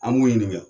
An b'u ɲininka